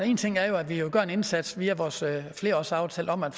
én ting er jo at vi gør en indsats via vores flerårsaftale om at